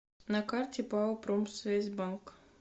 на карте пао промсвязьбанк